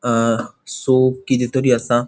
अ soap किदे तरी असा.